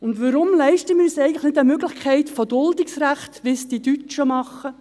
Weshalb leisten wir uns eigentlich nicht eine Möglichkeit des Duldungsrechts, wie es die Deutschen machen?